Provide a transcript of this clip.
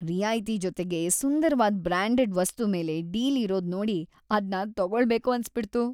ರಿಯಾಯ್ತಿ ಜೊತೆಗೆ ಸುಂದರ್ವಾದ್ ಬ್ರಾಂಡೆಡ್ ವಸ್ತು ಮೇಲೆ ಡೀಲ್‌ ಇರೋದ್ ನೋಡಿ ಅದ್ನ ತಗೊಳ್ಳೇಬೇಕು ಅನ್ಸ್ಬಿಡ್ತು.